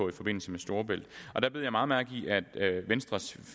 i forbindelse med storebælt og der bed jeg meget mærke i at venstres